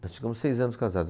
Nós ficamos seis anos casados.